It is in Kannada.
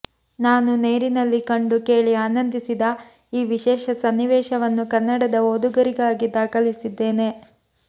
ನಾನು ನೇರಿನಲ್ಲಿ ಕಂಡು ಕೇಳಿ ಆನಂದಿಸಿದ ಈ ವಿಶೇಷ ಸನ್ನಿವೇಶವನ್ನು ಕನ್ನಡದ ಓದುಗರಿಗಾಗಿ ದಾಖಲಿಸಿದ್ದೇನೆ